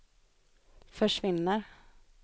försvinner